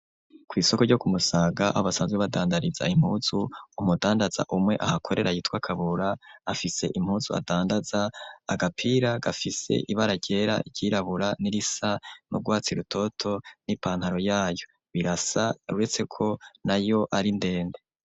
Kw'isoko ryo ku Musaga abasanzwe badandariza impuzu, umudandaza umwe ahakorera yitwa Kabura afise impuzu adandaza agapira gafise ibara ryera iryirabura n'irisa n'urwatsi rutoto n'ipantaro yayo, birasa uretse ko nayo ari ndende.